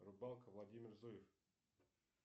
рыбалка владимир зуев